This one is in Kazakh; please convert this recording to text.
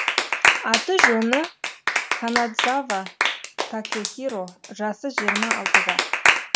аты жөні канадзава такэхиро жасы жиырма алтыда